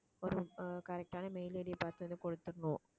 ஒரு correct ஆன mail ID யை பார்த்து அதை கொடுத்துடணும்